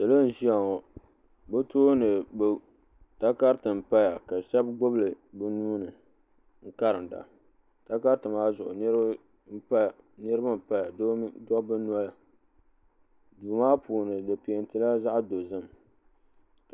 salo n ʒɛya ŋɔ be tuuni takaritɛ n paya ka be shɛbi gbabili be nuuni n karinida takaritɛ maa zuɣ niriba n paya doba noli doo maa puuni di pɛntɛla zaɣ dozim